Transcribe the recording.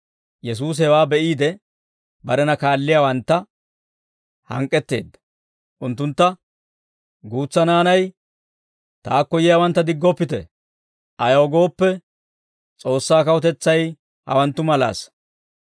Yesuusi hewaa be'iide, barena kaalliyaawantta hank'k'etteedda; unttuntta, «Guutsa naanay taakko yiyaawantta diggoppite; ayaw gooppe, S'oossaa kawutetsay hawanttu malaasa.